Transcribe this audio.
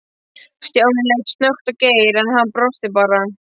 Stjáni leit snöggt á Geir, en hann brosti bara.